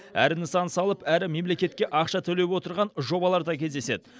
әрі нысан салып әрі мемлекетке ақша төлеп отырған жобалар да кездеседі